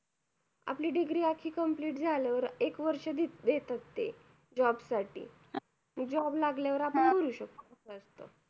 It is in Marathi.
आपली degree आखि complete झाल्यावर एक वर्ष देतात ते job साठी job लागल्यावर आपण भरू शकतो